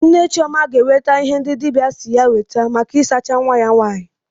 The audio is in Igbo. Nne Chioma ga-ewete ihe ndị dibịa si ya weta maka isacha nwa ya nwaanyị.